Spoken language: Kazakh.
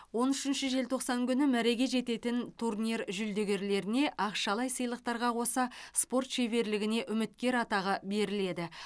он үшінші желтоқсан күні мәреге жететін турнир жүлдегерлеріне ақшалай сыйлықтарға қоса спорт шеберлігіне үміткер атағы беріледі